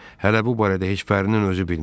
Hələ bu barədə heç Pərrinin özü bilmir.